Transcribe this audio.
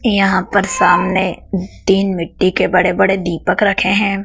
यहा पर सामने तीन मिट्टी के बड़े बड़े दीपक रखे हैं।